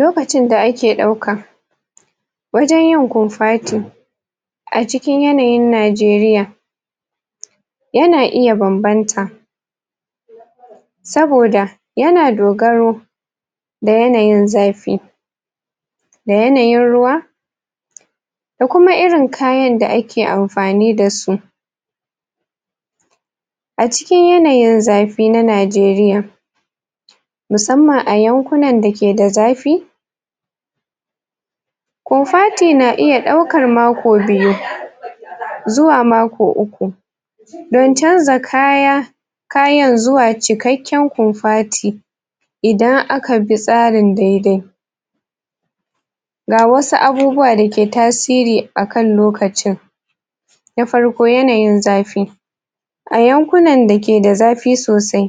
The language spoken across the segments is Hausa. Lokacin da ake ɗauka wajen yin kofati a cikin yanayin Najeriya yana iya banbanta saboda yana dogaro da yanayin zafi da yanayin ruwa da kuma irin kayan da ake amfani da su a cikin yanayin zafi na Najeriya musamman a yankunan da ke da zafi kofati na iya ɗaukar mako biyu zuwa mako uku dan canza kaya kayan zuwa cikakken kofati idan aka bi tsarin dai-dai ga wasu abubuwa da ke tasiri akan lokacin na farko, yanayin zafi a yankunan da ke da zafi sosai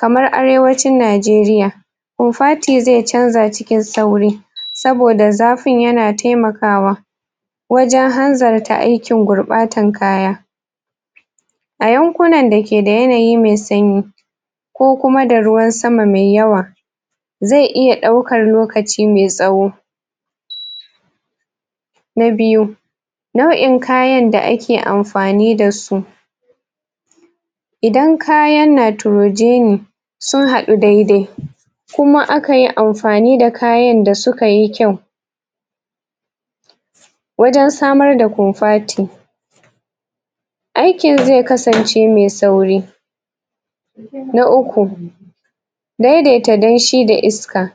kamar Arewacin Najeriya kofati zai canza cikin sauri saboda zafin yana taimakawa wajen hanzarta aikin gurɓatan kaya a yankunan da ke da yanayi me sanyi ko kuma da ruwan sama mai yawa zai iya ɗaukar lokaci mai tsawo na biyu, nau'in kayan da ake amfani da su idan kayan nitrogeni sun haɗu dai-dai kuma aka yi amfani da kayan da suka yi kyau wajen samar da kofati aikin zai kasance mai sauri na uku, daidaita danshi da iska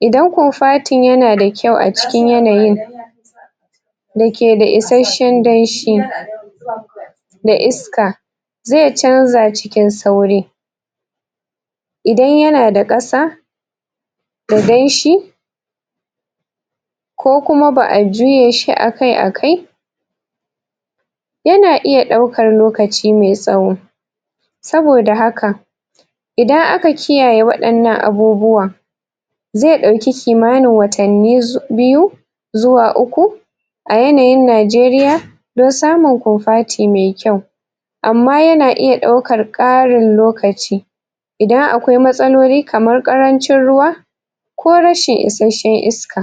idan kofatin yana da kyau a cikin yanayin da ke da isashen danshi da iska zai canza cikin sauri idan yana da ƙasa danshi ko kuma ba'a juye shi akai-akai yana iya ɗaukar lokaci mai tsawo saboda haka idan aka kiyaye waɗannan abubuwa zai ɗauki kimanin watanni biyu zuwa uku a yanayin Najeriya don samun kofati me kyau amma yana iya ɗaukar ƙarin lokaci idan akwai matsaloli kaman ƙarancin ruwa ko rashin isashen iska.